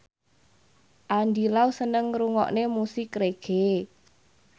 Andy Lau seneng ngrungokne musik reggae